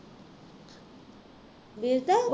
ਵੇਚ ਤਾਂ